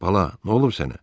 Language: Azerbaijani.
Bala, nə olub sənə?